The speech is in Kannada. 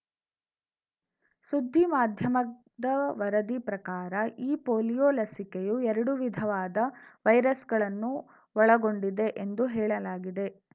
ಸುದ್ದಿ ಮಾಧ್ಯಮದ ವರದಿ ಪ್ರಕಾರ ಈ ಪೊಲಿಯೋ ಲಸಿಕೆಯು ಎರಡು ವಿಧವಾದ ವೈರಸ್‌ಗಳನ್ನು ಒಳಗೊಂಡಿದೆ ಎಂದು ಹೇಳಲಾಗಿದೆ